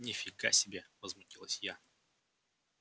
ни фига себе возмутилась я